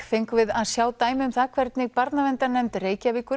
fengum við að sjá dæmi um það hvernig Barnaverndarnefnd Reykjavíkur